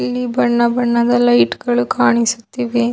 ಇಲ್ಲಿ ಬಣ್ಣ ಬಣ್ಣದ ಲೈಟ್ ಗಳು ಕಾಣಿಸುತ್ತಿದೆ.